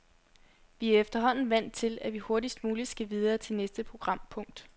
Vi er efterhånden vant til, at vi hurtigst muligt skal videre til næste programpunkt.